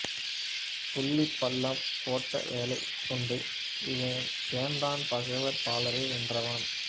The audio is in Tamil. புள்ளிப்பள்ளம் போட்ட வேலைக்கொண்டு இந்தச் சேந்தன் பகைவர் பலரை வென்றவன்